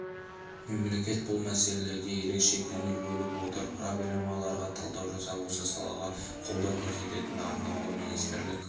мемлекет бұл мәселеге ерекше көңіл бөліп отыр проблемаларға талдау жасап осы салаға қолдау көрсететін арнаулы министрлік